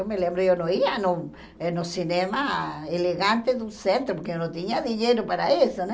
Eu me lembro, eu não ia no no cinema elegante do centro, porque eu não tinha dinheiro para isso, né?